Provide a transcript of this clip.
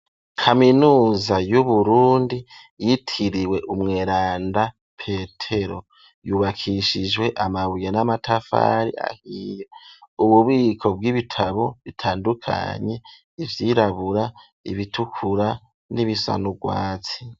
Kaminuza y'uburundi ,yitiriwe umweranda petero ,,yubakishijwe amabuye n'amatafari ahiye, ububiko bw'ibitabo bitandukanye, ivyirabura ,ibitukura ,n'ibisanurwatsi.